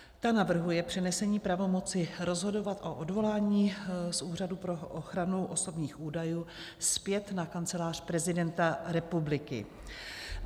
Ta navrhuje přenesení pravomoci rozhodovat o odvolání z Úřadu pro ochranu osobních údajů zpět na Kancelář prezidenta republiky.